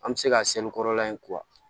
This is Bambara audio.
An bɛ se ka kɔrɔla in